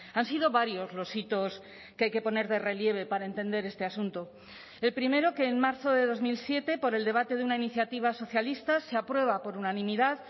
han sido varios los hitos que hay que poner de relieve para entender este asunto el primero que en marzo de dos mil siete por el debate de una iniciativa socialista se aprueba por unanimidad